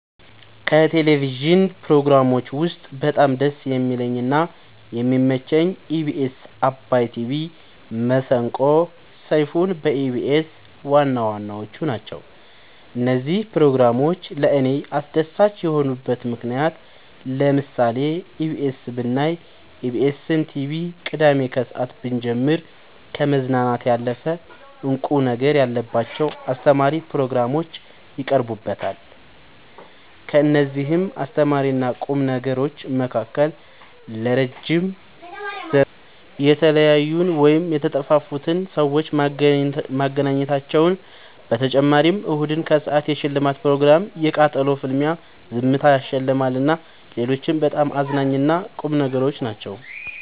ከቴሌቭዥን ፕሮግራሞች ውስጥ በጣም ደስ የሚለኝ እና የሚመቸኝ ኢቢኤስ አባይ ቲቪ መሰንቆ ሰይፋን በኢቢኤስ ዋናዋናዎቹ ናቸው። እነዚህ ፕሮግራሞች ለእኔ አስደሳች የሆኑበት ምክንያት ለምሳሌ ኢቢኤስ ብናይ ኢቢኤስን ቲቪ ቅዳሜ ከሰአት ብንጀምር ከመዝናናት ያለፈ እንቁ ነገር ያለባቸው አስተማሪ ፕሮግራሞች ይቀርቡበታል ከእነዚህም አስተማሪና ቁም ነገሮች መካከል ለረዥም ዘመን የተለያዩን ወይም የተጠፋፉትን ሰዎች ማገናኘታቸው በተጨማሪም እሁድን ከሰአት የሽልማት ፕሮግራም የቃጠሎ ፍልሚያ ዝምታ ያሸልማል እና ሌሎችም በጣም አዝናኝ እና ቁም ነገሮች ናቸው።